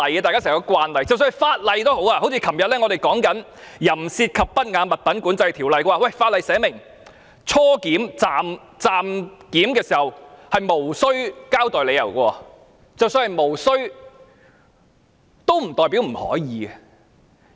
即使我們昨天討論《淫褻及不雅物品管制條例》，有條文訂明在初檢、暫檢時，無須交代理由，但無須不代表不可以。